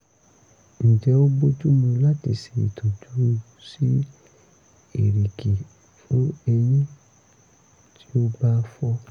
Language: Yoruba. ǹjẹ́ ó bójú mu láti ṣe ìtọ́jú sí erìgì fún eyín tí ó bá fọ́?